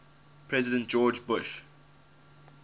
president george bush